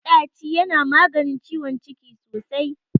Maɗaci yana maganin ciwon ciki sosai.